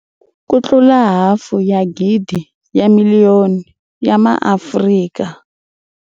Ku tlula hafu ya gidi ya miliyoni ya MaAfrika.